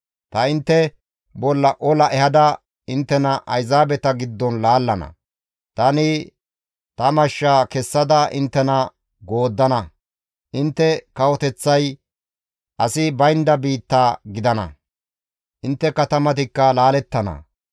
Ta intte bolla ola ehada inttena Ayzaabeta giddon laallana; tani ta mashsha kessada inttena gooddana; intte kawoteththay asi baynda biitta gidana; intte katamatikka laalettana.